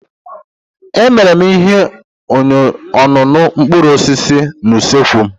Emere m ihe ọṅụṅụ mkpụrụ osisi na usekwu m